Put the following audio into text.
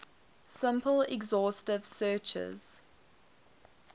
simple exhaustive searches